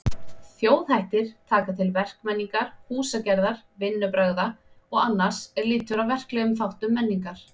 Þjóðhættir taka til verkmenningar, húsagerðar, vinnubragða og annars er lýtur að verklegum þáttum menningar.